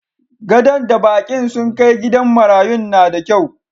Gadon da bakin sun kai gidan marayun na da kyau.